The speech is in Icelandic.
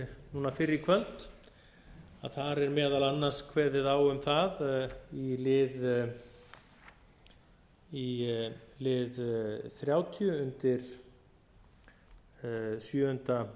núna fyrr í kvöld þar er meðal annars kveðið á um það í lið þrjátíu undir sjöunda